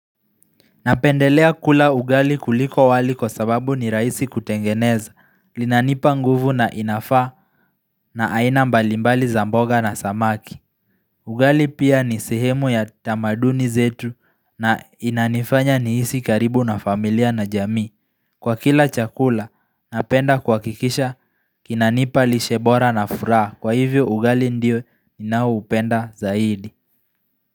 Napendelea kula ugali kuliko wali kwa sababu ni raisi kutengeneza, linanipa nguvu na inafa na aina mbalimbali zamboga na samaki. Ugali pia ni sehemu ya tamaduni zetu na inanifanya niisi karibu na familia na jamii Kwa kila chakula, napenda kuhakikisha kinanipa lishebora na furaha. Kwa hivyo ugali ndio ninaoupenda zaidi.